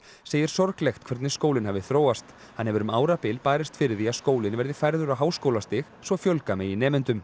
segir sorglegt hvernig skólinn hafi þróast hann hefur um árabil barist fyrir því að skólinn verði færður á háskólastig svo fjölga megi nemendum